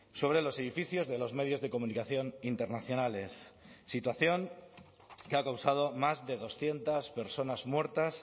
sobre los edificios de los medios de comunicación internacionales situación que ha causado más de doscientos personas muertas